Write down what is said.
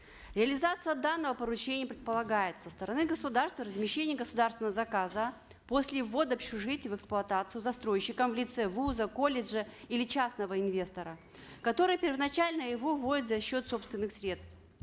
реализация данного поручения предполагает со стороны государства размещение государственного заказа после ввода общежитий в эксплуатацию застройщиком в лице вуза колледжа или частного инвестора который первоначально его вводит за счет собственных средств